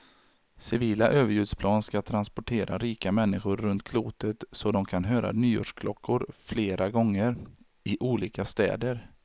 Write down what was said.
Civila överljudsplan ska transportera rika människor runt klotet så de kan höra nyårsklockor flera gånger, i olika städer.